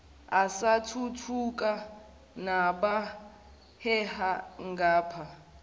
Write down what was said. asathuthuka nabaheha ngapha